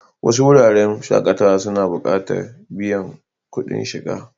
Wasu wuraren shakatawa suna buƙatan biyan kuɗin shiga.